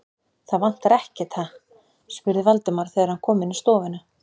Það vantar ekkert, ha? spurði Valdimar, þegar hann kom inn í stofuna.